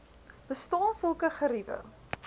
bestaan sulke geriewe